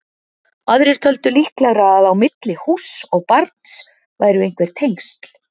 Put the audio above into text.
Aðrir töldu líklegra að á milli húss og barns væru einhver tengsl.